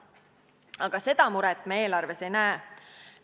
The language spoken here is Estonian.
Aga seda muret me eelarves ei näe.